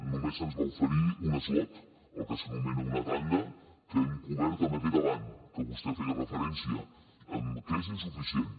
només se’ns va oferir un slot el que s’anomena una tanda que hem cobert amb aquest avant que vostè hi feia referència que és insuficient